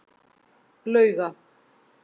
Lauga